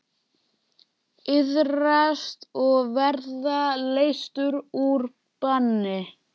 Iðrast og verða leystur úr banni.